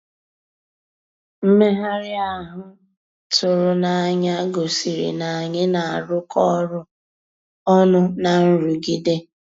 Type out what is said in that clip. Mmèghàrị́ ahụ́ tụ̀rụ̀ n'ànyá gosìrí ná ànyị́ ná-àrụ́kọ ọ́rụ́ ọnụ́ ná nrụ̀gídé.